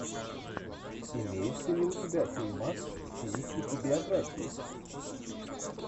имеется ли у тебя фильмас в стилистике биографии